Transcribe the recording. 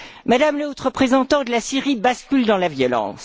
Madame la Haute représentante, la Syrie bascule dans la violence.